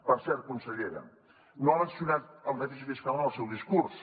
per cert consellera no ha mencionat el dèficit fiscal en el seu discurs